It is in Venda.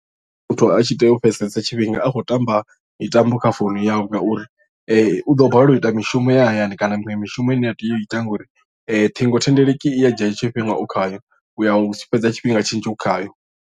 Muthu a tshi tea u fhedzesa tshifhinga a tshi khou tamba mitambo kha founu yawe ngauri u ḓo balelwa u ita mishumo ya hayani kana miṅwe mishumo ine a tea u ita ngauri thingothendeleki i ya dzhia tshifhinga u khayo u ya u fhedza tshifhinga tshinzhi u khayo.